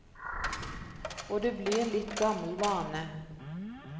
Og det blir litt gammel vane.